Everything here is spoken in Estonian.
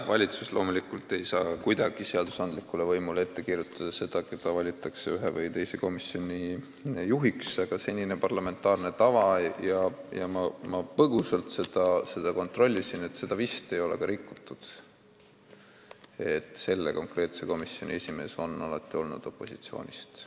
Valitsus ei saa loomulikult kuidagi seadusandlikule võimule ette kirjutada, keda valitakse ühe või teise komisjoni juhiks, aga see on olnud senine parlamentaarne tava – ma põgusalt seda kontrollisin, seda vist ei ole rikutud –, et selle komisjoni esimees on alati olnud opositsioonist.